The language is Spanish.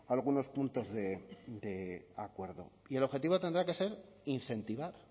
algunos puntos de acuerdo y el objetivo tendrá que ser incentivar